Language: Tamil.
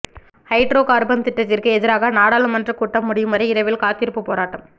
ஹைட்ரோ கார்பன் திட்டத்திற்கு எதிராக நாடாளுமன்றக்கூட்டம் முடியும் வரை இரவில் காத்திருப்பு போராட்டம்